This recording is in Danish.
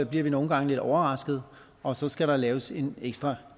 bliver vi nogle gange lidt overraskede og så skal der laves en ekstra